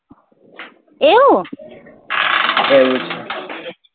એવું છે